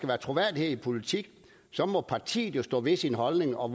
være troværdighed i politik må partiet jo stå ved sin holdning og